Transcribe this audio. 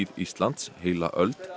Íslands heila öld